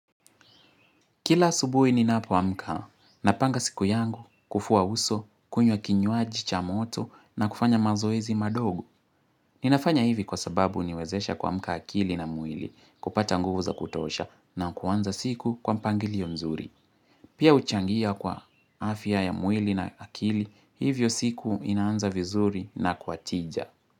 Kila subuhi ninapo amka, napanga siku yangu kufua uso, kunywa kinywaji cha moto na kufanya mazoezi madogo. Ninafanya hivi kwa sababu huniwezesha kuamka akili na mwili kupata nguvu za kutosha na kuanza siku kwa mpangilio mzuri. Pia huchangia kwa afya ya mwili na akili, hivyo siku inaanza vizuri na kwa tija.